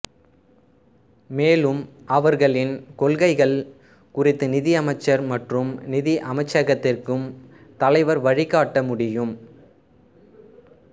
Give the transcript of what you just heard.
மேலும் அவர்களின் கொள்கைகள் குறித்து நிதி அமைச்சர் மற்றும் நிதி அமைச்சகத்திற்கும் தலைவர் வழிகாட்ட முடியும்